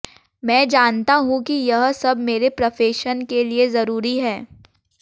मैं जानता हूं कि यह सब मेरे प्रफेशन के लिए जरूरी है